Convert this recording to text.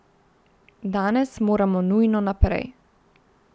Danes moramo nujno naprej.